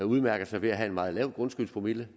udmærker sig ved at have en meget lav grundskyldspromille